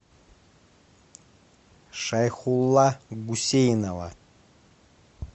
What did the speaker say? шайхулла гусейнова